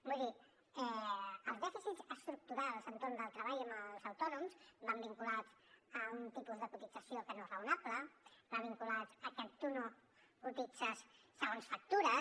vull dir que els dèficits estructurals entorn del treball amb els autònoms van vinculats a un tipus de cotització que no és raonable van vinculats a que tu no cotitzes segons factures